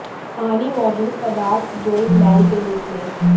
पानी मौजूद पदार्थ जो एक मैल के रूप में